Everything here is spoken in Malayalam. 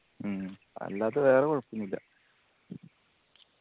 മ്മ് അല്ലാതെ വേറെ കൊഴപ്പോന്നില്ല